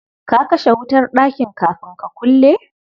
Ka kashe wutar ɗakin kafin ka kulle?